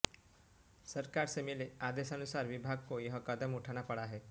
सरकार से मिले आदेशानुसार विभाग को यह कदम उठाना पड़ा है